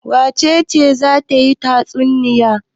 Wace ce za ta yi tatsunniya?